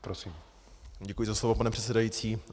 Děkuji za slovo, pane předsedající.